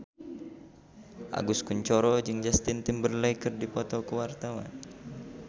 Agus Kuncoro jeung Justin Timberlake keur dipoto ku wartawan